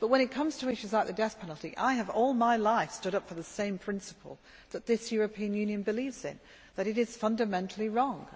But when it comes to issues like the death penalty, I have all my life stood up for the same principle that this European Union believes in, namely, that it is fundamentally wrong.